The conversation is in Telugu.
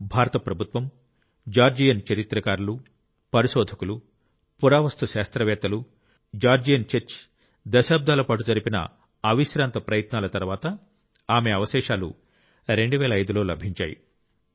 భారత ప్రభుత్వం జార్జియన్ చరిత్రకారులు పరిశోధకులు పురావస్తు శాస్త్రవేత్తలు జార్జియన్ చర్చి దశాబ్దాల పాటు జరిపిన అవిశ్రాంత ప్రయత్నాల తరువాత ఆమె అవశేషాలు 2005 లో లభించాయి